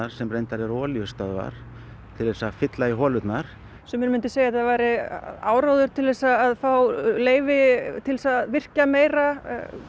sem reyndar eru olíustöðvar til þess að fylla í holurnar sumir myndu segja að þetta væri áróður til þess að fá leyfi til þess að virkja meira